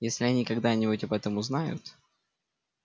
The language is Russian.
если они когда-нибудь об этом узнают